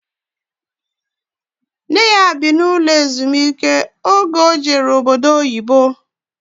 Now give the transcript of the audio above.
Nne ya bi n'ụlọ ezumiike oge o jere obodo oyibo